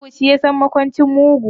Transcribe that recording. Mugu shi yasan makwancin mugu.